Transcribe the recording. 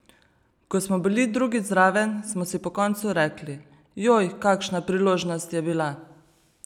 Ko smo bili drugič zraven, smo si po koncu rekli, joj, kakšna priložnost je bila!